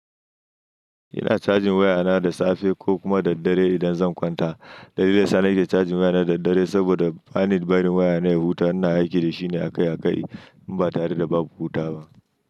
Ina cajin wayana da safe ko kuma daddare idan zan kwanta. Dalili da yasa nake cajin wayana da daddare saboda bani da barin wayana ya huta, ina aiki da shi ne akai akai in ba tare da ba ku huta ba.